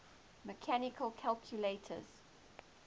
mechanical calculators